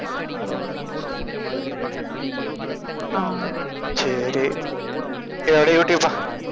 சரி சரி அப்படியே யூடுயூப் வா